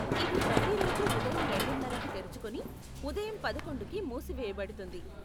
ఇది ప్రతిరోజు ఉదయం రెండున్నరకి తెరుచుకుని ఉదయం పదకొండుకి మూసివేయ బడుతుంది.